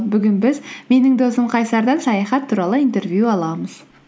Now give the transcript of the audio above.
бүгін біз менің досым қайсардан саяхат туралы интервью аламыз